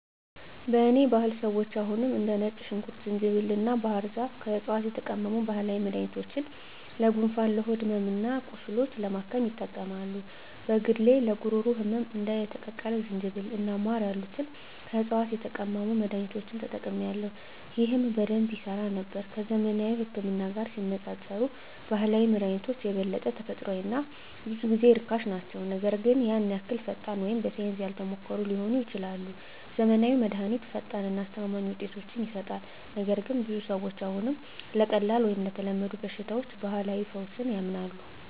በእኔ ባህል ሰዎች አሁንም እንደ ነጭ ሽንኩርት፣ ዝንጅብል እና ባህር ዛፍ ከዕፅዋት የተቀመሙ ባህላዊ መድኃኒቶችን ለጉንፋን፣ ለሆድ ሕመም እና ቁስሎች ለማከም ይጠቀማሉ። በግሌ ለጉሮሮ ህመም እንደ የተቀቀለ ዝንጅብል እና ማር ያሉትን ከዕፅዋት የተቀመሙ መድኃኒቶችን ተጠቅሜአለሁ፣ ይህም በደንብ ይሠራ ነበር። ከዘመናዊው ህክምና ጋር ሲነፃፀሩ ባህላዊ መድሃኒቶች የበለጠ ተፈጥሯዊ እና ብዙ ጊዜ ርካሽ ናቸው, ነገር ግን ያን ያህል ፈጣን ወይም በሳይንስ ያልተሞከሩ ሊሆኑ ይችላሉ. ዘመናዊው መድሃኒት ፈጣን እና አስተማማኝ ውጤቶችን ይሰጣል, ነገር ግን ብዙ ሰዎች አሁንም ለቀላል ወይም ለተለመዱ በሽታዎች ባህላዊ ፈውስ ያምናሉ.